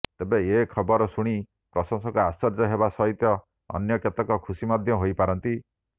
ତେବେ ଏହି ଖବର ଶୁଣି କିଛି ପ୍ରଶଂସକ ଆଶ୍ଚର୍ଯ୍ୟ ହେବା ସହିତ ଅନ୍ୟ କେତେକ ଖୁସି ମଧ୍ୟ ହୋଇପାରନ୍ତି